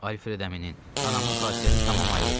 Alfredəminin, anamın xasiyyəti tamam ayrıdır.